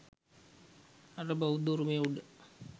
අර බෞද්ධ උරුමය උඩ